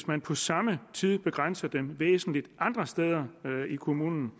man på samme tid begrænser det væsentligt andre steder i kommunen